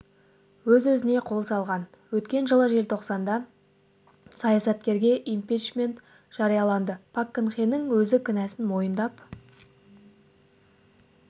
өз-өзіне қол салған өткен жылы желтоқсанда саясаткерге импичмент жарияланды пак кын хенің өзі кінәсін мойындап